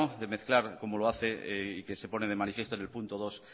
de mezclar como lo hace y que se pone de manifiesto en el punto dos